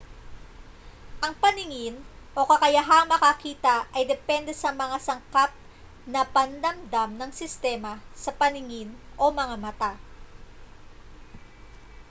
ang paningin o kakayahang makakita ay depende sa mga sangkap na pandamdam ng sistema sa paningin o mga mata